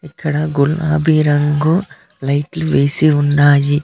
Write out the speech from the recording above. ఇక్కడ గులాబి రంగు లైట్ లు వేసి ఉన్నాయి.